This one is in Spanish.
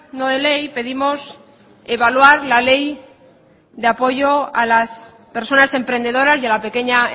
no de ley pedimos evaluar la ley de apoyo a las personas emprendedoras y a la pequeña